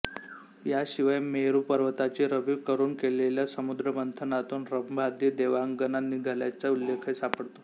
याशिवाय मेरु पर्वताची रवी करून केलेल्या समुद्रमंथनातून रंभादि देवांगना निघाल्याचा उल्लेखही सापडतो